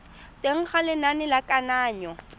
teng ga lenane la kananyo